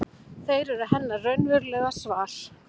Þeir eru hennar raunverulega svar.